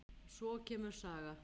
Og svo kemur saga